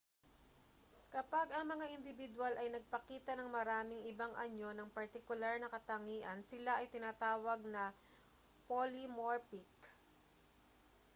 kapag ang mga indibidwal ay nagpakita ng maraming ibang anyo ng partikular na katangian sila ay tinatawag na polymorphic